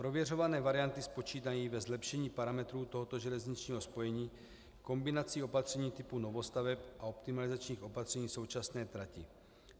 Prověřované varianty spočívají ve zlepšení parametrů tohoto železničního spojení kombinací opatření typu novostaveb a optimalizačních opatření současné praxe.